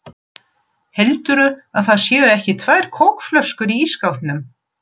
HELDURÐU AÐ ÞAÐ SÉU EKKI TVÆR KÓKFLÖSKUR Í ÍSSKÁPNUM!